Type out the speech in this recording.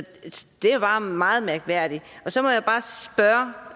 det er bare meget mærkværdigt så må